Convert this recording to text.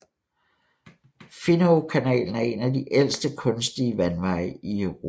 Finowkanalen er en af de ældste kunstige vandveje i Europa